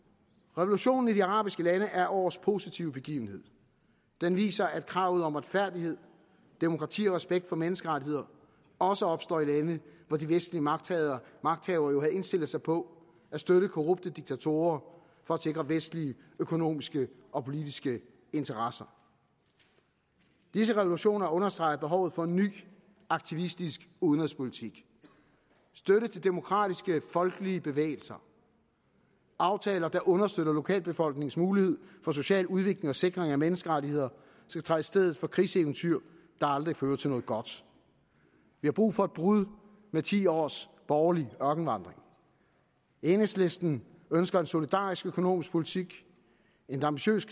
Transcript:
revolutionen i de arabiske lande er årets positive begivenhed den viser at kravet om retfærdighed demokrati og respekt for menneskerettigheder også opstår i lande hvor de vestlige magthavere magthavere jo havde indstillet sig på at støtte korrupte diktatorer for at sikre vestlige økonomiske og politiske interesser disse revolutioner understreger behovet for en ny aktivistisk udenrigspolitik støtte til demokratiske folkelige bevægelser aftaler der understøtter lokalbefolkningens muligheder for social udvikling og sikring af menneskerettigheder skal træde i stedet for krigseventyr der aldrig fører til noget godt vi har brug for et brud med ti års borgerlig ørkenvandring enhedslisten ønsker en solidarisk økonomisk politik en ambitiøs